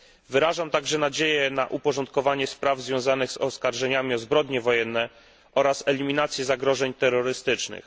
Wyrażam także nadzieję na uporządkowanie spraw związanych z oskarżeniami o zbrodnie wojenne oraz eliminację zagrożeń terrorystycznych.